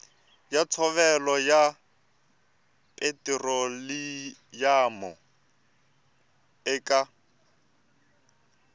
ya ntshovelo ya petiroliyamu eka